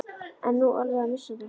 Ertu nú alveg að missa það?